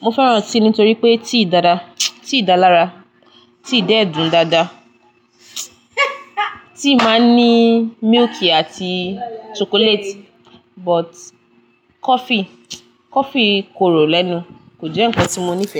Mo fẹ́ràn tea nítorí pé tea dára, tea dá lára, tea dẹ́ dun dáadáa. Tea máa ń ní milk àti chocolate but coffee, coffee korò lẹ́nu. Kò jẹ́ ǹkan tí mo nífẹ̀ẹ́.